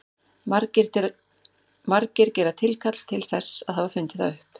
Margir gera tilkall til þess að hafa fundið það upp.